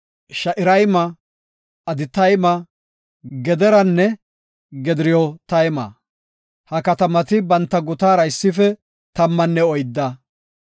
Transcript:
Sha7irayma, Aditayma, Gederanne Gederotayma. Ha katamati banta gutatara issife tammanne oydda.